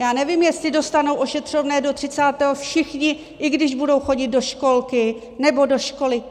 Já nevím, jestli dostanou ošetřovné do 30. všichni, i když budou chodit do školky nebo do školy.